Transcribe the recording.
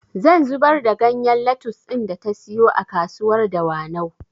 Zan zubar da ganyen lattus ɗin da ta siyo a kasuwar dawanau